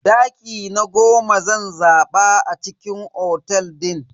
Daki na goma zan zaba a cikin otel din.